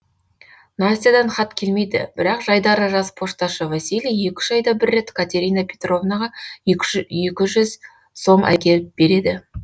настядан хат келмейді бірақ жайдары жас пошташы василий екі үш айда бір рет катерина петровнаға екі жүз сом әкеліп береді